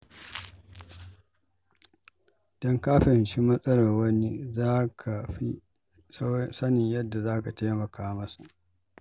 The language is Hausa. Idan ka fahimci matsalar wani, za ka fi sanin yadda za ka taimaka masa.